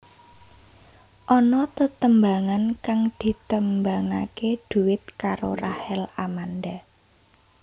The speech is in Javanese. Ana tetembangan kang ditembangaké duet karo Rachel Amanda